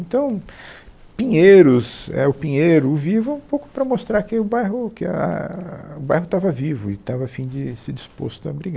Então, Pinheiros, é, o Pinheiro, o Vivo, um pouco para mostrar que o bairro ah o bairro estava vivo e estava a fim de se disposto a brigar.